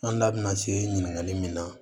An da bina se ɲini ɲininkali min na